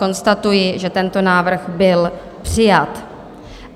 Konstatuji, že tento návrh byl přijat.